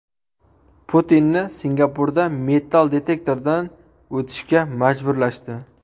Putinni Singapurda metall detektordan o‘tishga majburlashdi.